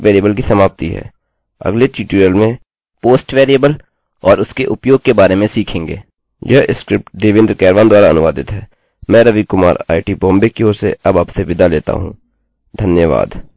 अगले ट्यूटोरियल में post post variable और उसके उपयोग के बारे में सीखेंगे यह स्क्रिप्ट देवेन्द्र कैरवान द्वारा अनुवादित है मैं रवि कुमार आईआईटी बॉम्बे की ओर से अब आपसे विदा लेता हूँ धन्यवाद